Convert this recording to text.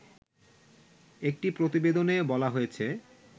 একটি প্রতিবেদনে বলা হয়েছে